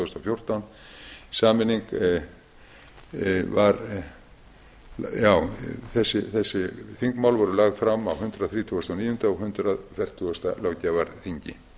þúsund og fjórtán þessi þingmál voru lögð fram á hundrað þrítugasta og níunda og hundrað fjörutíu löggjafarþingi